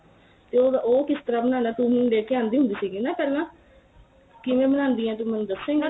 ਤੇ ਉਹ ਕਿਸ ਤਰ੍ਹਾਂ ਬਣਾਨਾ ਤੂੰ ਲੈ ਕੇ ਆਂਦੀ ਹੁੰਦੀ ਸੀਗੀ ਨਾ ਪਹਿਲਾਂ ਕਿਵੇਂ ਬਣਾਂਦੀ ਏ ਤੂੰ ਮੈਨੂੰ ਦਸੇ ਗੀ